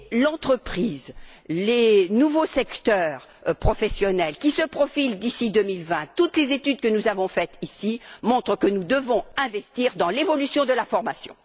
L'entreprise, les nouveaux secteurs professionnels qui se profilent d'ici 2020, toutes les études que nous avons faites ici, montrent que nous devons investir dans l'évolution de la formation.